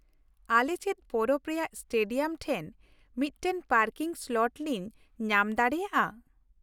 ᱟᱞᱮ ᱪᱮᱫ ᱯᱚᱨᱚᱵᱽ ᱨᱮᱭᱟᱜ ᱥᱴᱮᱰᱤᱭᱟᱢ ᱴᱷᱮᱱ ᱢᱤᱫᱴᱟᱝ ᱯᱟᱨᱠᱤᱝ ᱥᱞᱚᱴ ᱞᱤᱝ ᱧᱟᱢ ᱫᱟᱲᱮᱭᱟᱜᱼᱟ ?